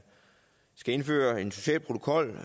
skal indføre en social protokol